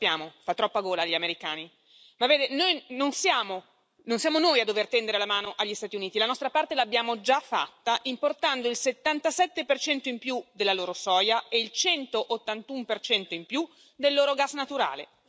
Lo sappiamo, fa troppa gola agli americani. Ma vede, non siamo noi a dover tendere la mano agli Stati Uniti. La nostra parte l'abbiamo già fatta importando il 77 in più della loro soia e il 181 in più del loro gas naturale.